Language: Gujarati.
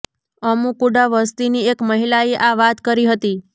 અમુ કુડા વસતીની એક મહિલાએ આ વાત કરી હતી